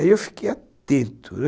Aí eu fiquei atento